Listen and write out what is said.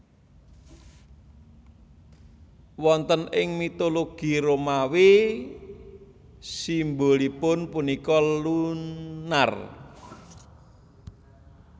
Wonten ing mitologi Romawi simbolipun punika Lunar